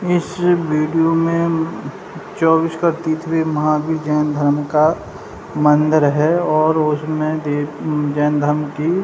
इस वीडियो में चौबीस का तिथवे महावीर जैन धर्म का मंदिर है और उसमे दे-अ जैन धर्म की --